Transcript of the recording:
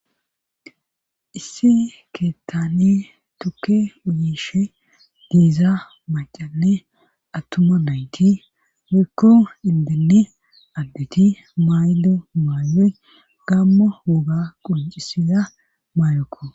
issi keettani tukke uyishe diiza macanne attuma nayti rikko indinni additi maydo maayey gamma woga quncisiza maayekko